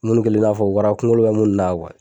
Munni kɛlen i n'a fɔ wara kunkolo bɛ munni na